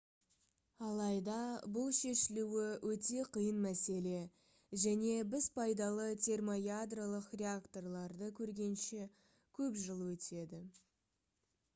алайда бұл шешілуі өте қиын мәселе және біз пайдалы термоядролық реакторларды көргенше көп жыл өтеді